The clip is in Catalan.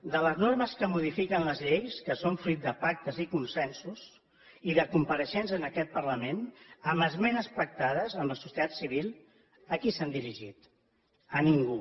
de les normes que modifiquen les lleis que són fruit de pactes i consensos i de compareixences en aquest parlament amb esmenes pactades amb la societat civil a qui s’han dirigit a ningú